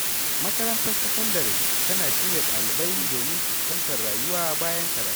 Makarantar sakandare tana shirya ɗalibai domin fuskantar rayuwa bayan karatu.